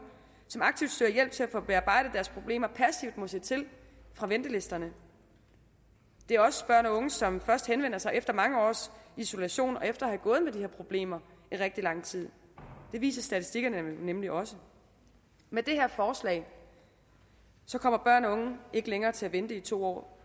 som aktivt søger hjælp til at få bearbejdet deres problemer passivt må se til fra ventelisterne det er også børn og unge som først henvender sig efter mange års isolation og efter at problemer i rigtig lang tid det viser statistikkerne nemlig også med det her forslag kommer børn og unge ikke længere til at vente i to år